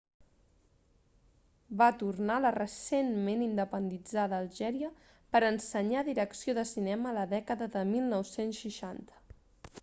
va tornar a la recentment independitzada algèria per ensenyar direcció de cinema a la dècada de 1960